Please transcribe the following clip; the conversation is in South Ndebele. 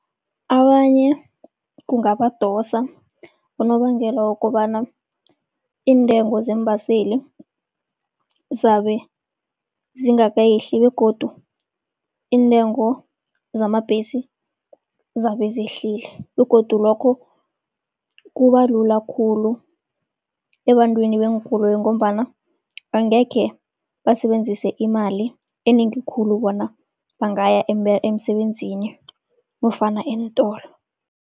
Abanye kungabadosa, unobangela wokobana iintengo zeembaseli zizabe zingakehli begodu iintengo zamabhesi zizabe zehlile. Begodu lokho kuba lula khulu ebantwini beenkoloyi ngombana angekhe basebenzise imali enengi khulu bona bangaya emsebenzini nofana eentolo.